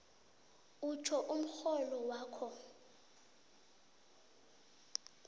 utjho umrholo wakho